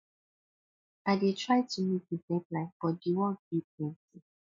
i dey try to meet di deadline but di work dey plenty